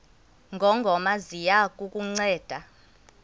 ngongoma ziya kukunceda